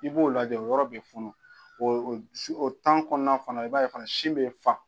I b'o lajɛ o yɔrɔ bɛ funu o o o kɔnɔna fana i b'a ye fana sin bɛ fa.